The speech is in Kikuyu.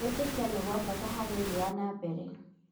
Kwĩĩtĩkia nĩ gwa bata harĩ ũthii wa na mbere.